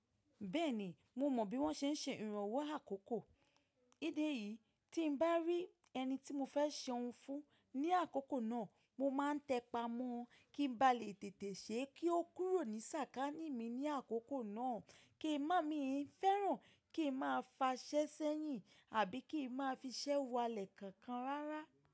Bẹ́ẹ̀ni, mo mọ bí wọ́n ṣe ń ṣe ìrànwọ́ àkókò. Nídi eyìí, tí bá rí ẹni tí mo fẹ́ ṣe ohun fún ní àkókò náà, mo máa ń tẹpà mọ́ ọ kí n ba lè tètè ṣe kí ó kúrò ní sàkání mi ní àkókò náà, kí ń má mi fẹ́ràn, kí ń máa fa ṣẹ́ sẹ́yìn àbí kí ń máa fi ṣẹ́ wọ alẹ̀ kankan rárá.